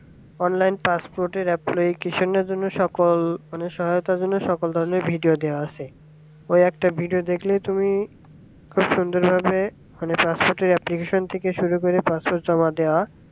online passport এর application জন্য সকল মানে সহায়তা গুলো সকল ধরনের video দেওয়া আছে কয়েকটা video দেখলেই তুমি খুব সুন্দর ভাবে মানে passport এর application শুরু করে passport জমা দেওয়া